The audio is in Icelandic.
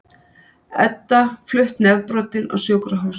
Edda flutt nefbrotin á sjúkrahús